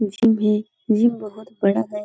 Gym है। Gym बहुत बड़ा है।